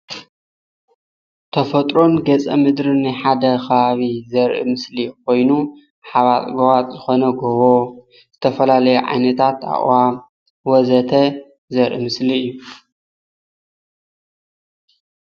ተፈጥሮን ገፀ ምድር ናይ ሓደ ከባቢ ዘርኢ ምስሊ ኮይኑ ሓባጥ ጎባጥ ዝኮነ ጎቦ ዝተፈላለዩ ዓይነታት ኣእዋም ወዘተ ዘርኢ ምስሊ እዩ፡፡